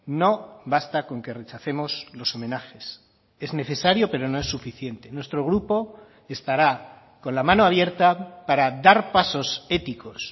no basta con que rechacemos los homenajes es necesario pero no es suficiente nuestro grupo estará con la mano abierta para dar pasos éticos